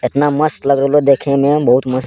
एतना मस्त लग रहलो देखे में बहुत मस्त --